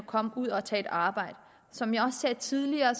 komme ud og tage et arbejde som jeg også sagde tidligere